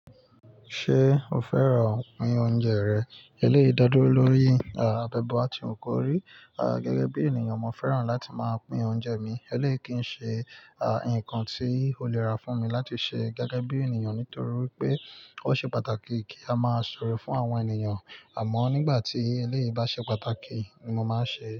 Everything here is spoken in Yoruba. Ṣé o fẹ́ràn pín oúnjẹ rẹ̀? Eléyii da dúró lórí, à, bi e ba ti wu kórí. À, gẹ́gẹ́ bí ènìyàn, mo fẹ́ràn láti máa pín oúnjẹ mi. Eléèyii kì í ṣe, à, ǹnkan tí ó lè rà fún mi láti ṣe gẹ́gẹ́ bí ènìyàn nítorí wipé ó ṣe pàtàkì kí a máa ṣe oore fún àwọn ènìyàn. Àmọ́ nígbà tí eleyii bá ṣe pàtàkì ni mo máa ń ṣe é.